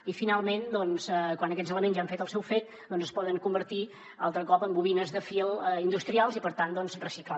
i finalment quan aquests elements ja han fet el seu fet es poden convertir altre cop en bobines de fil industrials i per tant reciclar